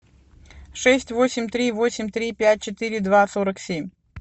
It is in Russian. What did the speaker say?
шесть восемь три восемь три пять четыре два сорок семь